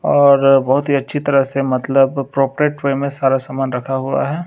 और बहोत ही अच्छी तरह से मतलब प्रापेट वे में सारा सामान रखा हुआ है।